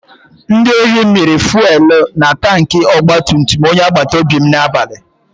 Ndị ohi mịrị fuwelu na tanki ogbatumtum onye agbatobi n'abalị.